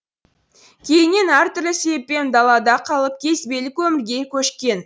кейіннен әртүрлі себеппен далада қалып кезбелік өмірге көшкен